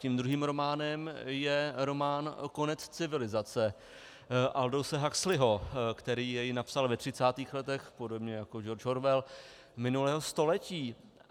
Tím druhým románem je román Konec civilizace Aldouse Huxleyho, který jej napsal ve třicátých letech - podobně jak George Orwell - minulého století.